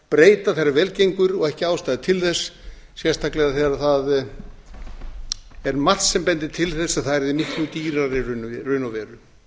breyta þegar vel gengur og ekki ástæða til þess sérstaklega þegar það er margt sem bendir til þess að það verði miklu dýrara í raun og veru